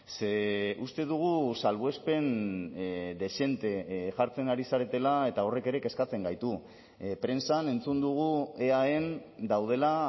ze uste dugu salbuespen dezente jartzen ari zaretela eta horrek ere kezkatzen gaitu prentsan entzun dugu eaen daudela